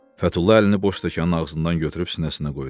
Fətulla əlini boş stəkanın ağzından götürüb sinəsinə qoydu.